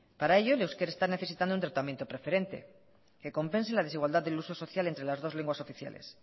para ello el euskera está necesitando un tratamiento preferente que compense la desigualdad del uso social entre las dos lenguas oficiales